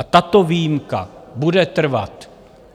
A tato výjimka bude trvat.